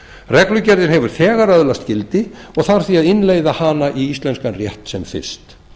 reglugerðin hefur þegar öðlast gildi og þarf því að innleiða hana í íslenskan rétt sem fyrst